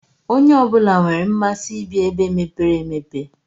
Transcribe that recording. Onye ọbula nwèrè mmasị ibi ebe mepere emepe.